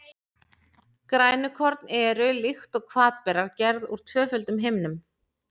Grænukorn eru, líkt og hvatberar, gerð úr tvöföldum himnum.